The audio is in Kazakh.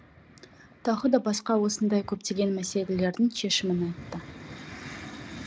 тағы да басқа осындай көптеген мәселелердің шешімін айтты